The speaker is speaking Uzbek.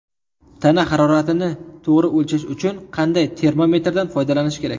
Tana haroratini to‘g‘ri o‘lchash uchun qanday termometrdan foydalanish kerak?.